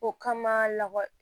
O kama lakɔli